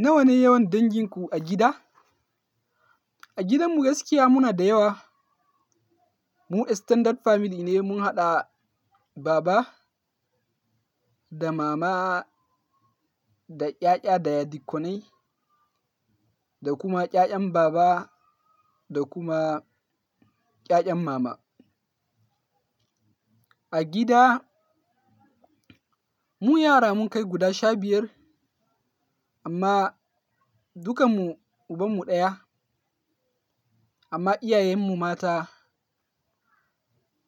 Nawa ne yawan danginku a gida? A gidanmu gaskiya muna da yawa. Mu extended family ne, mun haɗa baba da mama da ƴaƴa daya dikkonai da kuma ƴaƴan baba da kuma ƴaƴan mama. A gida mu yara mun kai guda sha biyar amma duka mu ubanmu ɗaya amma iyayenmu mata